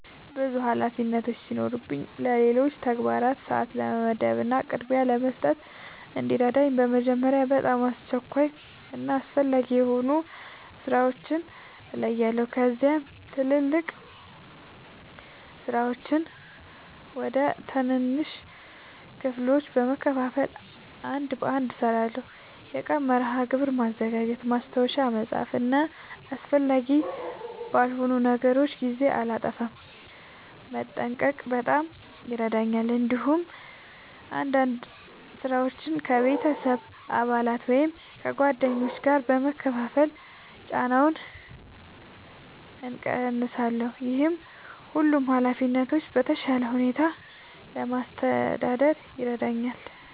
ብዙ ኃላፊነቶች ሲኖሩኝ ለሌሎች ተግባራት ሰአት ለመመደብ እና ቅድሚያ ለመስጠት እንዲረዳኝ በመጀመሪያ በጣም አስቸኳይ እና አስፈላጊ የሆኑ ሥራዎችን እለያለሁ። ከዚያም ትላልቅ ሥራዎችን ወደ ትናንሽ ክፍሎች በመከፋፈል አንድ በአንድ እሠራቸዋለሁ። የቀን መርሃ ግብር ማዘጋጀት፣ ማስታወሻ መጻፍ እና አስፈላጊ ባልሆኑ ነገሮች ጊዜ እንዳላጠፋ መጠንቀቅ በጣም ይረዳኛል። እንዲሁም አንዳንድ ሥራዎችን ከቤተሰብ አባላት ወይም ከጓደኞች ጋር በመካፈል ጫናውን እቀንሳለሁ። ይህ ሁሉንም ኃላፊነቶች በተሻለ ሁኔታ ለማስተዳደር ይረዳኛል።